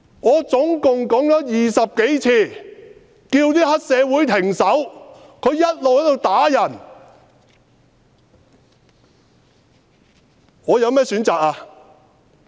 我總共20多次叫黑社會分子停手，他們一直在打人，我有甚麼選擇？